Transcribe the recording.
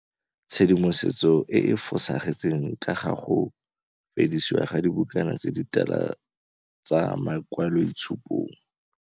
Tshedimosetso e e fosagetseng ka ga go fedisiwa ga dibukana tse ditala tsa makwaloitshupong.